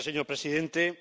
Señor presidente,